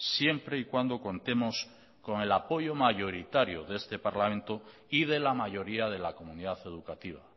siempre y cuando contemos con el apoyo mayoritario de este parlamento y de la mayoría de la comunidad educativa